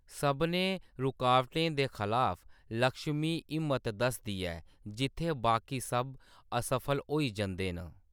सभनें रकावटें दे खलाफ लक्ष्मी हिम्मत दसदी ऐ, जित्थै बाकी सब असफल होई जंदे न।